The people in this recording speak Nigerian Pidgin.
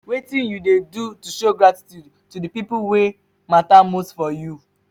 wetin you dey do to show gratitude to di people wey mata most for you?